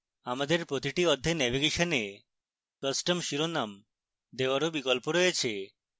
আমাদের প্রতিটি অধ্যায় নেভিগেশনে custom শিরোনাম দেওয়ারও বিকল্প রয়েছে